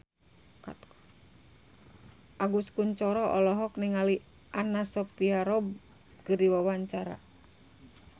Agus Kuncoro olohok ningali Anna Sophia Robb keur diwawancara